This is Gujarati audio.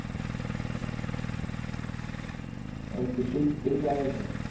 અરે ખુશી કેવું ચાલે છે